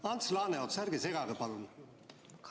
Ants Laaneots, ärge segage, palun!